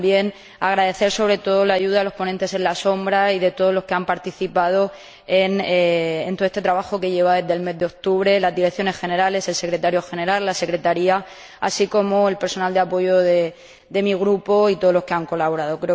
También agradecer, sobre todo, la ayuda de los ponentes en la sombra y de todos los que han participado en todo este trabajo desde el mes de octubre las Direcciones Generales, el Secretario General, la Secretaría, así como el personal de apoyo de mi Grupo, y todos los que han colaborado.